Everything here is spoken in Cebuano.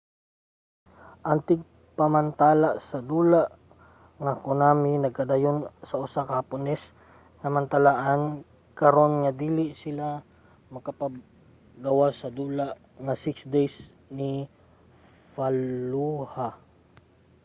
ang tigmantala sa dula nga konami nagkanayon sa usa ka hapones nga mantalaan karon nga dili sila magpagawas sa dula nga six days in fallujah